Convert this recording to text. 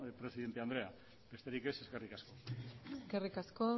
presidente andrea besterik ez eskerrik asko eskerrik asko